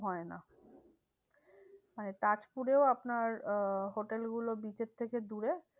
হয় না। মানে তাজপুরেও আপনার আহ hotel গুলো beach এর থেকে দূরে